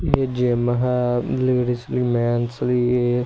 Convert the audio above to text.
ਇਹ ਜਿਮ ਹੈ ਲੈਡੀਜ ਵੀ ਮੈਨਸ ਵੀ--